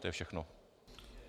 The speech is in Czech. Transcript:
To je všechno.